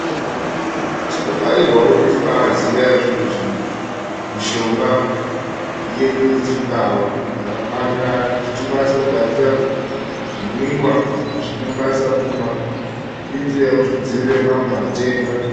Tinokarirwa kuti tibaaziya zvinhu zvi..mishonga yedu yechindau yakakwanirana kuti tikwanise kugadzira zvimwiwa zvatinokwanisa kumwa. Irinzira yekuti tidziirire mamwe matenda.